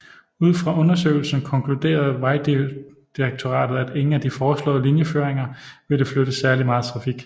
Ud fra undersøgelsen konkluderet Vejdirektoratet at ingen af de foreslået linjeføringer ville flytte særligt meget trafik